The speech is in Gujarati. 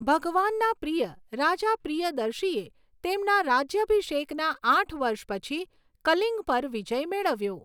ભગવાનના પ્રિય, રાજા પ્રિયદર્શીએ તેમના રાજ્યાભિષેકના આઠ વર્ષ પછી કલિંગ પર વિજય મેળવ્યો.